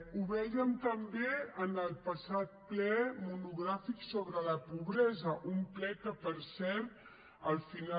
ho vèiem també en el passat ple monogràfic sobre la pobresa un ple que per cert al final